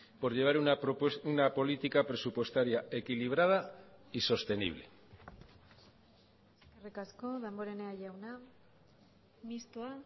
por llevar una política presupuestaria equilibrada y sostenible eskerrik asko damborenea jauna mistoa